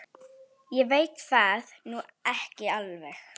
Ég veit það nú ekki alveg.